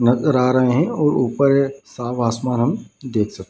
नजर आ रहें हैं और ऊपर साफ आसमान हम देख सक --